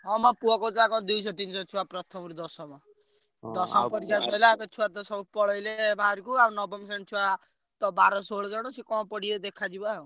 ହଁ ମୋ ପୁଅ କହୁଥିଲା କଣ ଦୁଇ ଶହରୁ ତିନି ଶହଛୁଆ ପ୍ରଥମରୁ ଦଶମ। ସେ ଛୁଆତ ସବୁ ପଳେଇଲେ ବାହାରକୁ ଆଉ ନବମ ଶ୍ରେଣୀ ଛୁଆ ତ ବାର ଷୋଳ ଜଣ ସିଏ କଣ ପଢିବେ ଦେଖାଯିବ ଆଉ।